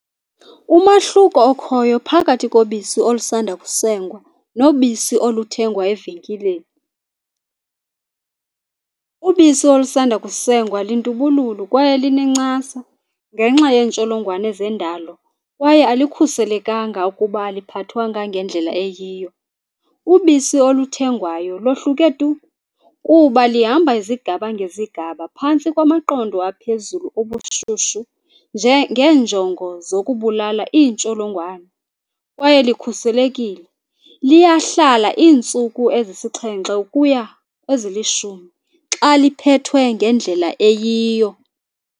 Umahluko okhoyo phakathi kobisi olusanda kusengwa nobisi oluthengwa evenkileni. Ubisi olusanda kusengwa lintubululu kwaye linencasa ngenxa yeentsolongwane zendalo kwaye alikhuselekanga ukuba aliphathwanga ngendlela eyiyo. Ubisi oluthengwayo lohluke tu kuba lihamba izigaba ngezigaba phantsi kwamaqondo aphezulu obushushu nje ngenjongo zokubulala iintsholongwane kwaye likhuselekile. Liyahlala iintsuku ezisixhenxe ukuya kwezilishumi xa liphethwe ngendlela eyiyo.